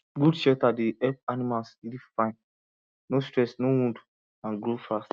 good shelter dey help animals live fine no stress no wound and grow fast